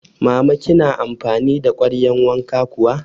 Mama kina amfani da kwaryan wanka kuwa?